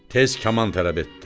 Tez kaman tələb etdi.